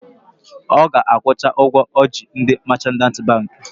Ọ ga-akwụcha ụgwọ ọ ji ndị machant bankị